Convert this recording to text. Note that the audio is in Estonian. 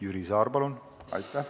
Jüri Saar, palun!